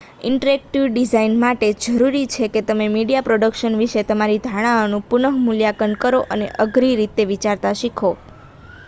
interactive design માટે જરૂરી છે કે તમે મીડિયા પ્રોડક્શન વિશેની તમારી ધારણાઓનું પુનઃ મૂલ્યાંકન કરો અને અઘરી રીતે વિચારતા શીખો